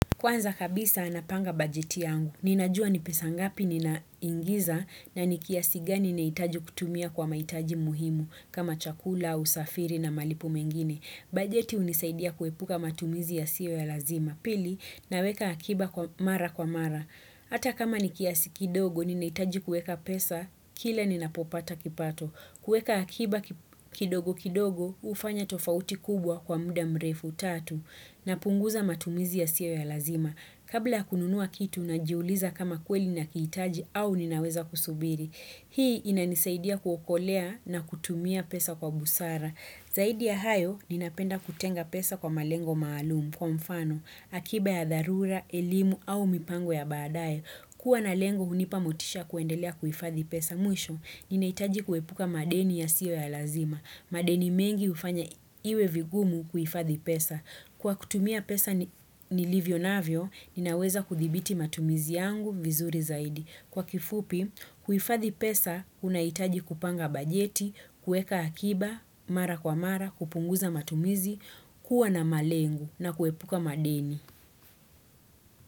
Kwanza kabisa napanga bajeti yangu. Ninajua ni pesa ngapi ninaingiza na ni kiasi gani nahitaji kutumia kwa mahitaji muhimu kama chakula, usafiri na malipo mengine. Bajeti hunisaidia kuepuka matumizi yasiyo ya lazima. Pili, naweka akiba mara kwa mara. Hata kama ni kiasi kidogo ninahitaji kuweka pesa, kila ninapopata kipato. Kuweka akiba kidogo kidogo hufanya tofauti kubwa kwa muda mrefu tatu napunguza matumizi yasiyo ya lazima. Kabla ya kununua kitu najiuliza kama kweli ninakihitaji au ninaweza kusubiri. Hii inanisaidia kuokolea na kutumia pesa kwa busara. Zaidi ya hayo ninapenda kutenga pesa kwa malengo maalumu kwa mfano, akiba ya dharura, elimu au mipango ya baadaye. Kuwa na lengo hunipa motisha kuendelea kuhifadhi pesa mwisho, ninahitaji kuepuka madeni yasiyo ya lazima. Madeni mengi hufanya iwe vigumu kuhifadhi pesa. Kwa kutumia pesa nilivyonavyo, ninaweza kuthibiti matumizi yangu vizuri zaidi. Kwa kifupi, kuhifadhi pesa, unahitaji kupanga bajeti, kuweka akiba, mara kwa mara, kupunguza matumizi, kuwa na malengo na kuepuka madeni.